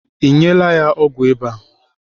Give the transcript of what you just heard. Ị nyela ya ọgwụ ịba?